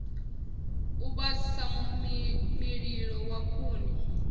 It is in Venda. u vhasa mililo wa khuni